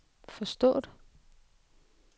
forstået